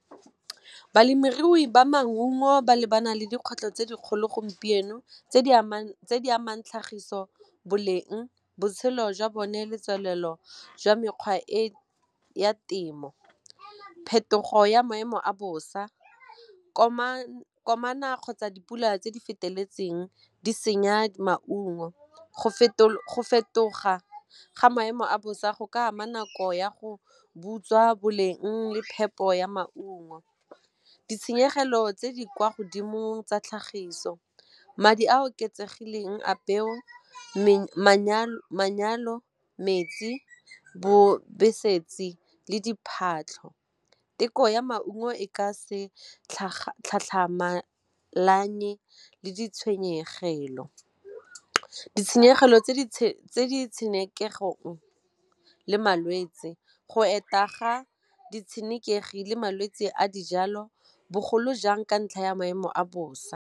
Balemirui ba maungo ba lebana le dikgwetlho tse dikgolo gompieno tse di amang tlhagiso boleng botshelo jwa bone le tswelelo jwa mekgwa e ya temo phetogo ya maemo a bosa kgotsa dipula tse di feteletseng di senya maungo go fetoga ga maemo a bosa go ka ama nako ya go butswa boleng le phepo ya maungo. Ditshenyegelo tse di kwa godimo tsa tlhagiso madi a a oketsegileng a peo bobedi metsi le diphatlha theko ya maungo e ka se le ditshwenyegelo. Ditshenyegelo tse di tshenekeging le malwetse go eta ga ditshenekegi le malwetse a dijalo bogolo jang ka ntlha ya maemo a bosa.